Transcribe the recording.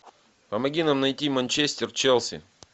помоги нам найти манчестер челси